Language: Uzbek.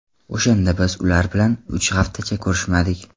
O‘shanda biz ular bilan uch haftacha ko‘rishmadik.